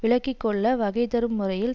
விலக்கி கொள்ள வகை தரும் முறையில்